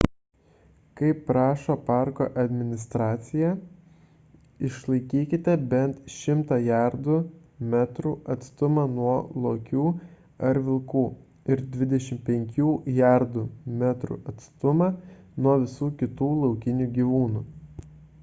kaip prašo parko administracija išlaikykite bent 100 jardų / metrų atstumą nuo lokių ar vilkų ir 25 jardų / metrų atstumą nuo visų kitų laukinių gyvūnų